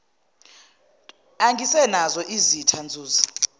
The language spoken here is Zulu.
ungasenazo izitha nzuza